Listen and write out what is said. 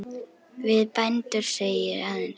Við bændur segi ég aðeins.